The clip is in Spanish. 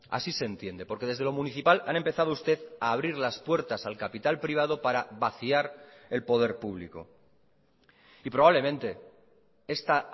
así se entiende porque desde lo municipal han empezado usted a abrir las puertas al capital privado para vaciar el poder público y probablemente esta